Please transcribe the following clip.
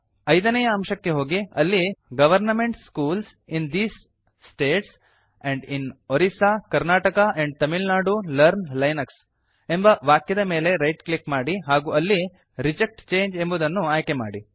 ಐದನೇಯ ಅಂಶಕ್ಕೆ ಹೋಗಿ ಅಲ್ಲಿ government schools in these states and in Orissa Karnataka and Tamil Nadu learn Linux ಎಂಬ ವಾಕ್ಯದ ಮೇಲೆ ರೈಟ್ ಕ್ಲಿಕ್ ಮಾಡಿ ಹಾಗೂ ಅಲ್ಲಿ ರಿಜೆಕ್ಟ್ ಚಂಗೆ ಎಂಬುದನ್ನು ಆಯ್ಕೆಮಾಡಿ